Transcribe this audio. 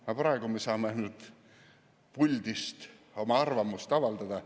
Aga praegu me saame puldist ainult oma arvamust avaldada.